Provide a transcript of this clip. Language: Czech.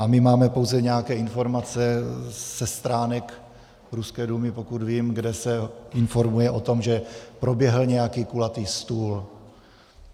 A my máme pouze nějaké informace ze stránek ruské Dumy, pokud vím, kde se informuje o tom, že proběhl nějaký kulatý stůl.